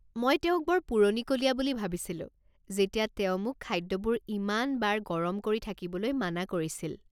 মই তেওঁক বৰ পুৰণিকলীয়া বুলি ভাবিছিলোঁ যেতিয়া তেওঁ মোক খাদ্যবোৰ ইমান বাৰ গৰম কৰি থাকিবলৈ মানা কৰিছিল।